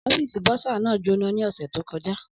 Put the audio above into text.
Ọ́fíìsì bursar náà jóná ní ọ̀sẹ̀ tó kọjá.